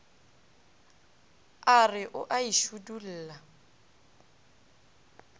a re o a šidulla